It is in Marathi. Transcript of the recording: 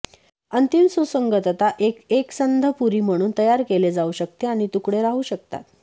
अंतिम सुसंगतता एक एकसंध पुरी म्हणून तयार केले जाऊ शकते आणि तुकडे राहू शकतात